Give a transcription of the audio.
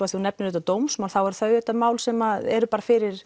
þú nefnir auðvitað dómsmál þá eru þau auðvitað mál sem eru bara fyrir